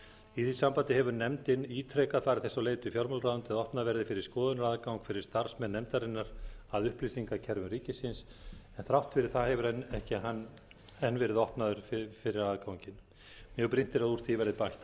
í því sambandi hefur nefndin ítrekað farið þess á leit við fjármálaráðuneytið að opnað verði fyrir skoðunaraðgang fyrir starfsmenn nefndarinnar að upplýsingakerfum ríkisins en þrátt fyrir það hefur ekki enn verið opnað fyrir aðganginn mjög brýnt er að úr því verði bætt án